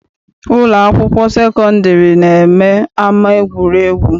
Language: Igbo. Ụlọ akwụkwọ sekọndịrị na-eme ama egwuregwu.